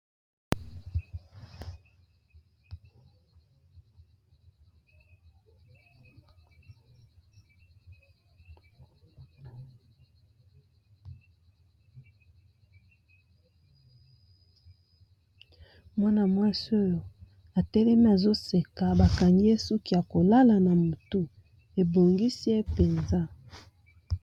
Mwana mwasi oyo atelemi azoseka ba kangi ye suki ya kolala na motu ebongisi ye penza.